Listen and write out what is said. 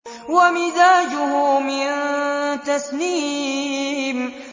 وَمِزَاجُهُ مِن تَسْنِيمٍ